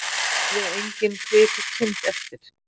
Lifði engin kvik kind eftir